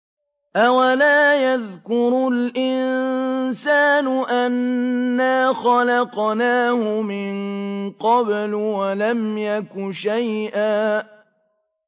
أَوَلَا يَذْكُرُ الْإِنسَانُ أَنَّا خَلَقْنَاهُ مِن قَبْلُ وَلَمْ يَكُ شَيْئًا